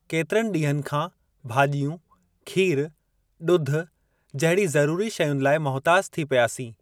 केतरनि ॾींहनि खां भाजि॒यूं, खीरु, ॾूध जहिड़ी ज़रूरी शयुनि लाइ मुहिताज थी पियासीं।